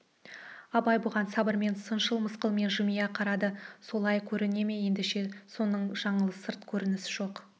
абай бұған сабырмен шыншыл мысқылмен жымия қарады солай көріне ме ендеше соның жаңылыс сырт көрініс жоқ